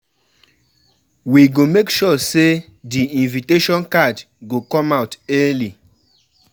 We go make sure sey di invitation card go come out early.